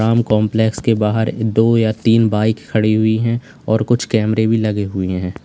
Ram complex के बाहर दो या तीन बाइक खड़ी हुई हैं और कुछ कैमरे भी लगे हुए हैं।